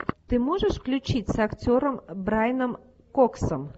ты можешь включить с актером брайаном коксом